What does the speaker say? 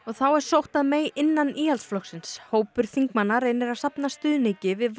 þá er sótt að innan Íhaldsflokksins hópur þingmanna reynir að safna stuðningi við